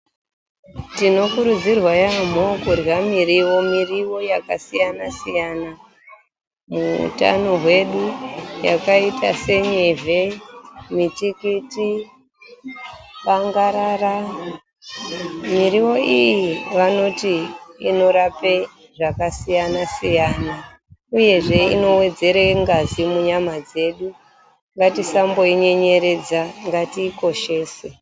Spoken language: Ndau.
Tinokurudzirwawo yampho kurya muriwo .Muriwo yakasiyana siyana muutano hwedu yakaita senyevhe, mutikiti, bangarara muriwo iyi vanoti inorapa zvakasiyana siyana uye inowedzera ngazi munyama dzedu ngatisamboinyenyeredza ngatiikoshese.